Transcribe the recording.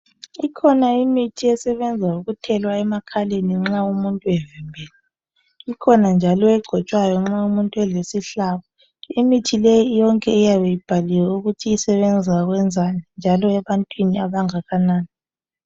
Ikhona imithi esebenza ngokuthelwa emakhaleni nxa umuntu evimbene .Ikhona njalo egcotshwayo nxa umuntu elesihlabo ,imithi leyi yonke iyabe ibhaliwe ukuthi isebenza ukwenzani. Njalo ebantwini abangakanani.